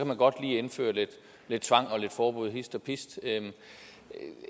man godt lige indføre lidt lidt tvang og lidt forbud hist og pist